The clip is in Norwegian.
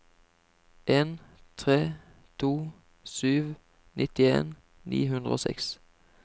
en tre to sju nittien ni hundre og seks